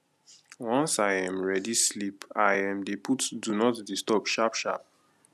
once i um ready sleep i um dey put do not disturb sharp sharp